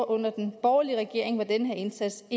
under den borgerlige regering hvor den her indsats